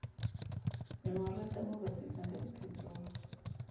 memorantamo o ba tsebisangka diphetohotse